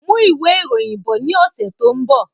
Mú ìwé ìròyìn bọ̀ ní ọsẹ tó n bọ